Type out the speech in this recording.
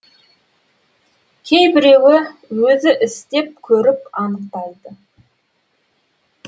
кейбіреуі өзі істеп көріп анықтайды